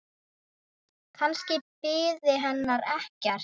Kannski biði hennar ekkert.